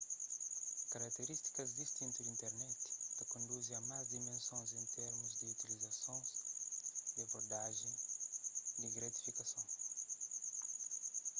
karakterístikas distintu di internet ta konduzi a más dimensons en termus di utilizasons y abordajen di gratifikason